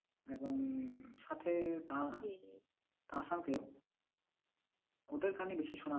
এবং সাথে দার দারাসান কেউ ওদের গানই বেশি শোনা হয়।